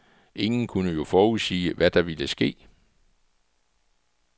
Ingen kunne jo forudsige, hvad der ville ske.